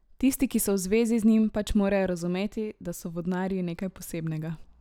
Tisti, ki so v zvezi z njim, pač morajo razumeti, da so vodnarji nekaj posebnega.